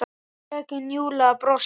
Fröken Júlía brosti.